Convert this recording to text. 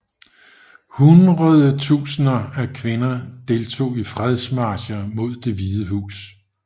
Hundredetusinder af kvinder deltog i fredsmarcher mod Det Hvide Hus